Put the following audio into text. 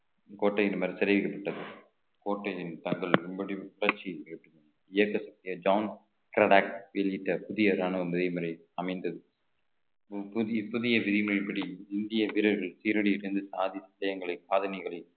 கோட்டை இந்த மாதிரி தெரிவிக்கப்பட்டது கோட்டையின் தாக்குதல் புதிய ராணுவ மேல்முறை அமைந்தது புதிய புதிய விதிமுறைப்படி இந்திய வீரர்கள் சீரடி சென்று சாதித்து சாதனைகளை